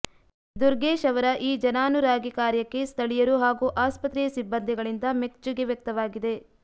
ದುರ್ಗೇಶ್ ಅವರ ಈ ಜನಾನುರಾಗಿ ಕಾರ್ಯಕ್ಕೆ ಸ್ಥಳೀಯರು ಹಾಗೂ ಆಸ್ಪತ್ರೆಯ ಸಿಬ್ಬಂದಿಗಳಿಂದ ಮೆಚ್ಚುಗೆ ವ್ಯಕ್ತವಾಗಿದೆ